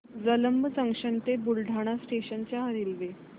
Jalamb junction ते Buldhana station च्या railway